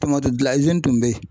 Tɔmati gilan izini tun bɛ yen